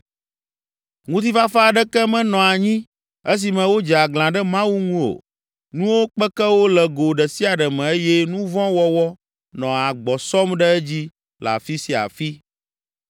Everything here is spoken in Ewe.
Ŋutifafa aɖeke menɔ anyi esime wodze aglã ɖe Mawu ŋu o. Nuwo kpeke wo le go ɖe sia ɖe me eye nu vɔ̃ wɔwɔ nɔ agbɔ sɔm ɖe edzi le afi sia afi.